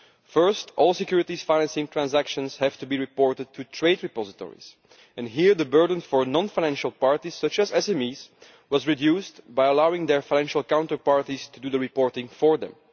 First, all securities financing transactions have to be reported to trade repositories, and here the burden for non financial parties, such as SMEs, was reduced by allowing their financial counterparties to do the reporting for them.